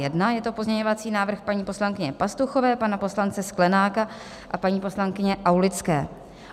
Je to pozměňovací návrh paní poslankyně Pastuchové, pana poslance Sklenáka a paní poslankyně Aulické.